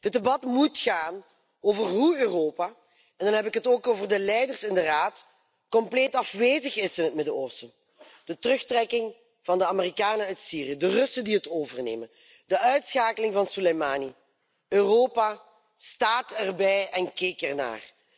Dit debat moet gaan over hoe Europa en dan heb ik het ook over de leiders in de Raad compleet afwezig is in het Midden Oosten. De terugtrekking van de Amerikanen uit Syrië, de Russen die het overnemen, de uitschakeling van Soleimani Europa stond erbij en keek ernaar.